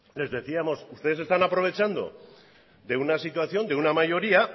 les decíamos ustedes están aprovechando de una situación de una mayoría